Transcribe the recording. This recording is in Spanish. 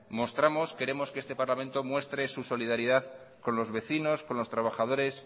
queremos que este parlamento muestre su solidaridad con los vecinos con los trabajadores